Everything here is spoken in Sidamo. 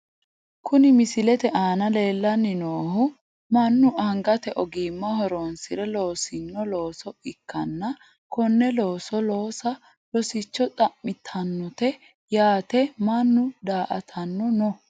Kuni misilete aana leellanni noohu mannu angate ogimma horonsire loosino looso ikkanna konne looso loosa rosicho xa'mitannote yaate mannu daa''atanno no.